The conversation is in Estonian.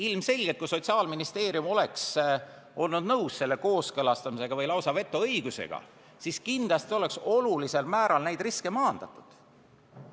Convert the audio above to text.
Ilmselgelt, kui Sotsiaalministeerium oleks olnud nõus selle kooskõlastamisega või lausa vetoõigusega, siis kindlasti oleks olulisel määral neid riske maandatud.